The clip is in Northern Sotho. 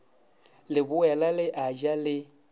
leboela le a ja le